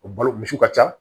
O balo misiw ka ca